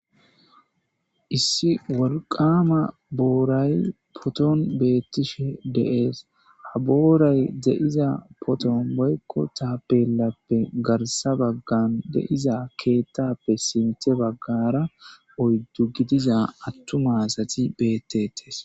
Issi walqama booray poton beettishe deees ha booray deiza poton boykko taapelappe garsa baggan deiza keettappe simte baggara oyddu gidiza attuma asati beetes